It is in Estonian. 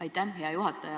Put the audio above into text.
Aitäh, hea juhataja!